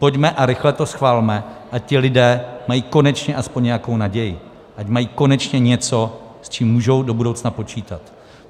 Pojďme a rychle to schvalme, ať ti lidé mají konečně aspoň nějakou naději, ať mají konečně něco, s čím můžou do budoucna počítat.